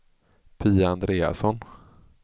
Pia Andreasson